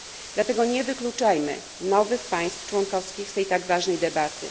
Dlatego nie wykluczajmy nowych państw członkowskich z tej tak ważnej debaty.